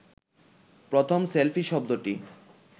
প্রথম সেলফি শব্দটি